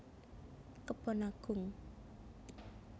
Kebon Agung